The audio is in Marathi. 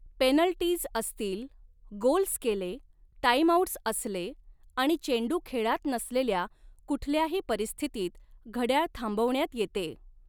पेनल्टीज असतील, गोल्स केले, टाइमआऊट्स असले आणि चेंडू खेळात नसलेल्या कुठल्याही परिस्थितीत घड्याळ थांबवण्यात येते.